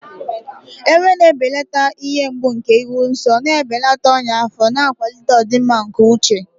Ewe na-ebelata ihe mgbu nke ịhụ nsọ, na-ebelata ọnya afọ, na-akwalite ọdịmma nke uche.